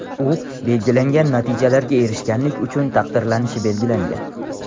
U belgilangan natijalarga erishganlik uchun taqdirlanishi belgilangan.